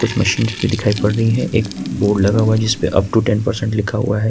Percent दिखाई पड़ रहा है एक बोर्ड लगा हुआ है जिस पर अप टू टेन परसेंटेज लिखा हुआ है।